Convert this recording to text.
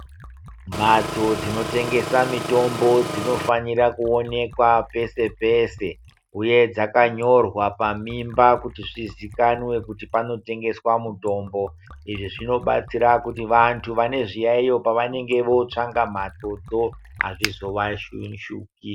Mhatso dzinotengesa mitombo dzinofanira kuonekwa pese pese uye dzakanyorwa pamimba kuti zvizikanwe kuti panotengeswa mutombo. Izvi zvinobatsira kuti vantu vane zviyayiyo pavanenge vootsvanga mhatsodzo azvizovashupi.